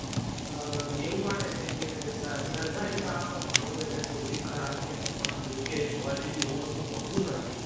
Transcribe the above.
આહ એવું માને છે કે સરકારી શાળામાં ભણવું એટલે સૌથી ખરાબ કહેવાય. પણ જો કે જોવા જઈએ તો એવું કશું હોતું નથી.